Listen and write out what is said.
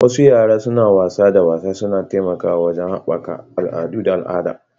Wasu yara suna wasa da wasa suna taimakawa wajen haɓaka al'adu da al'ada